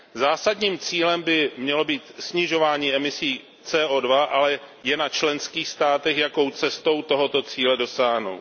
Zásadním cílem by mělo být snižování emisí CO2, ale je na členských státech, jakou cestou tohoto cíle dosáhnou.